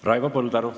Raivo Põldaru.